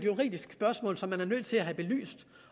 juridisk spørgsmål som man er nødt til at have belyst